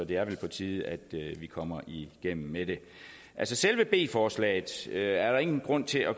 det er vel på tide at vi kommer igennem med det selve b forslaget er der ingen grund til at